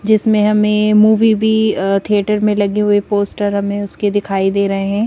जिसमें हमें मूवी भी अ थिएटर में लगे हुए पोस्टर हमें उसके दिखाई दे रहे--